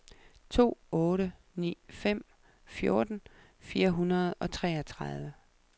to otte ni fem fjorten fire hundrede og treogtredive